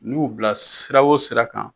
N'u bila sira o sira kan